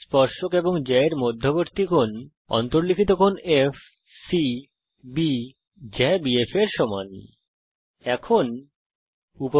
স্পর্শক এবং জ্যা এর মধ্যবর্তী কোণ ডিএফবি জ্যা BF এর অন্তর্লিখিত কোণ এফসিবি